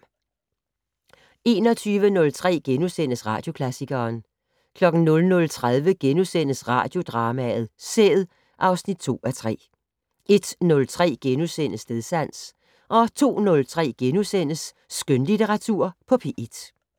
21:03: Radioklassikeren * 00:30: Radiodrama: Sæd (2:3)* 01:03: Stedsans * 02:03: Skønlitteratur på P1 *